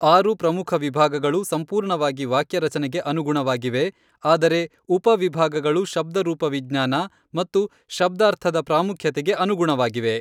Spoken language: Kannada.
ಆರು ಪ್ರಮುಖ ವಿಭಾಗಗಳು ಸಂಪೂರ್ಣವಾಗಿ ವಾಕ್ಯರಚನೆಗೆ ಅನುಗುಣವಾಗಿವೆ, ಆದರೆ ಉಪ ವಿಭಾಗಗಳು ಶಬ್ದರೂಪವಿಜ್ಞಾನ ಮತ್ತು ಶಬ್ದಾರ್ಥದ ಪ್ರಾಮುಖ್ಯತೆಗೆ ಅನುಗುಣವಾಗಿವೆ.